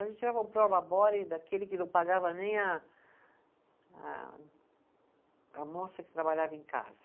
A gente tirava um daquele que não pagava nem a a, a moça que trabalhava em casa.